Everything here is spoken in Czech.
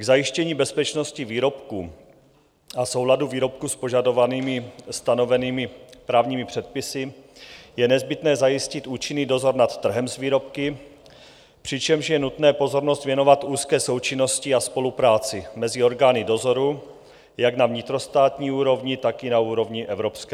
K zajištění bezpečnosti výrobků a souladu výrobků s požadovanými stanovenými právními předpisy je nezbytné zajistit účinný dozor nad trhem s výrobky, přičemž je nutné pozornost věnovat úzké součinnosti a spolupráci mezi orgány dozoru jak na vnitrostátní úrovni, tak i na úrovni evropské.